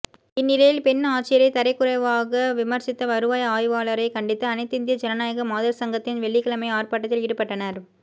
இந்நிலையில் பெண் ஆட்சியரைத் தரக்குறைவாக விமா்சித்த வருவாய் ஆய்வாளரைக் கண்டித்து அனைத்திந்திய ஜனநாயக மாதா் சங்கத்தினா் வெள்ளிக்கிழமை ஆா்ப்பாட்டத்தில் ஈடுபட்டனா்